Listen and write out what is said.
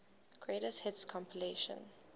greatest hits compilation